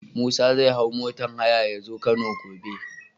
Musa zai hau motar haya yazo kano gobe